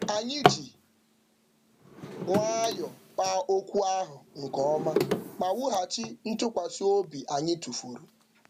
Anyị ji nwayọ kpaa okwu ahụ nke ọma ma wughachi ntụkwasị obi anyị tụfuru.